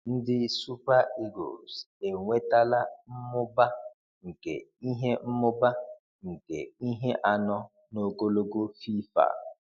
Ndị Super Eagles enwetala mmụba nke ihe mmụba nke ihe anọ n’ogologo FIFA.